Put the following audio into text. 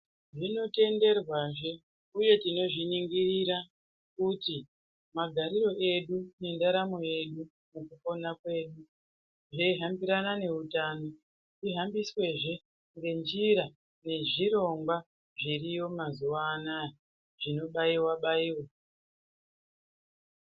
Zvinotenderwa zvee uye tinozviningirira kuti magariro edu nendaramo yedu pakupona pedu zveyihambirana noutano zvihambiswe zvee ngenjira yezvirongwa zviriyo mazuva anaya zvinobayiwa bayiwe.